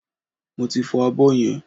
Mo ti fọ abọ́ yẹn